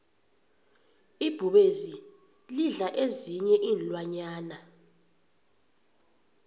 ibhubezi lidla ezinyei iinlwanyana